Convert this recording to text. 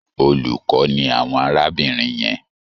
Olùkọ́ ni àwọn arábìnrin yẹn.